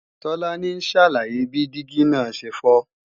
Tolani ń ṣàlàyé bí dígí náà ṣe fọ́